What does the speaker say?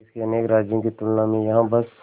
देश के अनेक राज्यों की तुलना में यहाँ बस